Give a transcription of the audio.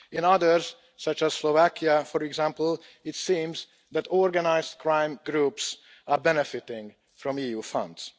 In others, such as Slovakia, for example, it seems that organised crime groups are benefiting from EU funds.